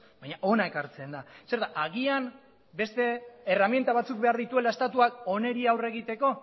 baina hona ekartzen da zer da agian beste erreminta batzuk behar dituela estatuak honi aurre egiteko